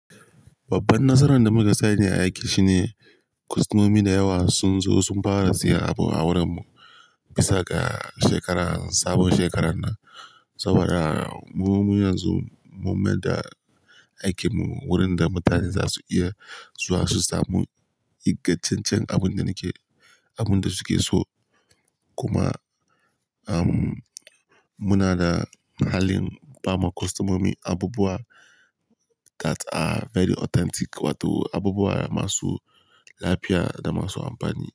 Babban nasaran da muka sani ne a aiki shine kwastomomi da yawa sun zo sun fara siyan abu a wurin mu bisa ga shekarar, sabon shekarar nan. Saboda mu, mu yanzu mun maida aikin mu wurin da mutane za su iya zuwa su samu ingantaccen abun da nake, abun da su ke so. Kuma, um, muna da halin ba ma kwastomomi abubuwa that are very authentic wato abubuwa masu lafiya da masu amfani.